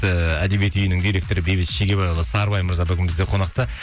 ііі әдебиет үйінің директоры бейбіт шегебайұлы сарыбай мырза бүгін бізде қонақта